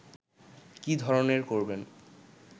কী ধরনের করবেন